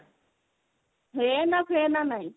ହେନା ଫେନା ନାଇଁ